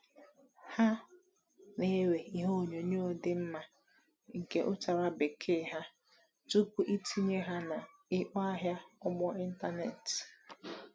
Ha na-ewe ihe onyoonyo dị mma nke ụ tara bekee ha tupu itinye ha na ikpo ahịa ugbo n’ịntanetị.